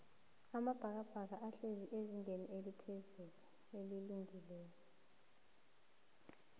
amabhakabhaka ahlezi phezullu eligini